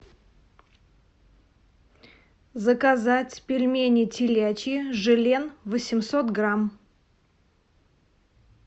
заказать пельмени телячьи желен восемьсот грамм